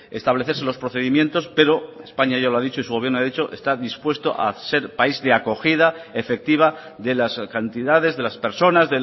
establecerse los procedimientos pero españa ya lo ha dicho y su gobierno ha dicho está dispuesto a ser país de acogida efectiva de las cantidades de las personas